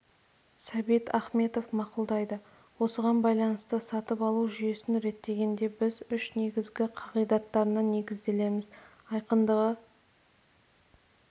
сәбит ахметов мақұлдайды осыған байланысты сатып алу жүйесін реттегенде біз үш негізгі қағидаттарына негізделеміз айқындығы